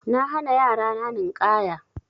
Na hana yara na Ninƙaya.